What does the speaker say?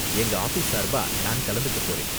எங்க ஆஃபீஸ் சார்பா நான் கலந்துக்க போறேன்.